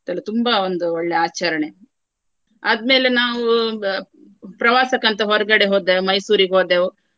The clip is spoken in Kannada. ಮತ್ತೆಲ್ಲಾ ತುಂಬಾ ಒಂದು ಒಳ್ಳೆ ಆಚರಣೆ. ಆದ್ಮೇಲೆ ನಾವು ಆ ಪ್ರವಾಸಕ್ಕೆ ಅಂತ ಹೊರಗಡೆ ಹೋದೆವು. ಮೈಸೂರಿಗೆ ಹೋದೆವು.